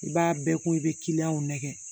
I b'a bɛɛ ko i be nɛgɛ